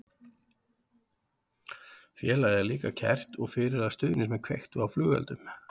Félagið er líka kært og fyrir að stuðningsmenn kveiktu á flugeldum.